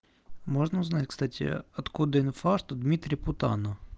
можно узнать кстати откуда инфаркту дмитрий путана